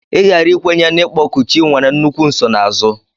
Ịghara ikwenye n'ịkpọku chi nwere nnukwu nsonaazụ.